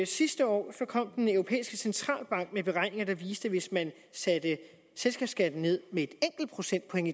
sidste år kom den europæiske centralbank med beregninger der viste at hvis man satte selskabsskatten ned med et enkelt procentpoint